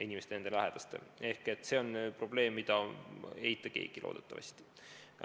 See on probleem, mida keegi loodetavasti ei eita.